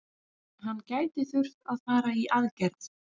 Hann gæti þurft að fara í aðgerð.